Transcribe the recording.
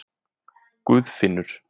Guðfinnur